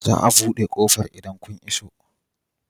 Za a buɗe ƙofar idan kun iso.